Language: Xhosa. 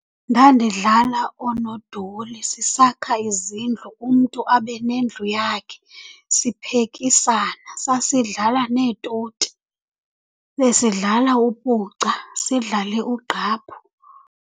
Ndandidlala oonodoli, sisakha izindlu, umntu abe nendlu yakhe, siphekisana. Sasidlala neetoti. Besidlala upuca, sidlale ugqaphu.